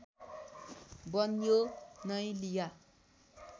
बन्यो नै लिया